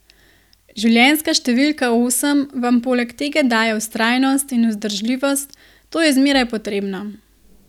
Življenjska številka osem vam poleg tega daje vztrajnost in vzdržljivost, to je zmeraj potrebno.